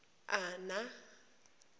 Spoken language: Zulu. ana